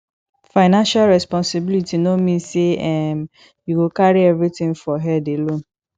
financial responsibility no mean say um you go carry everything for head alone